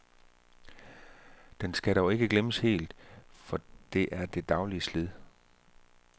Den skal dog ikke glemmes helt, for det er det daglige slid.